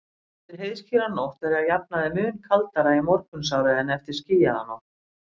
Eftir heiðskíra nótt er að jafnaði mun kaldara í morgunsárið en eftir skýjaða nótt.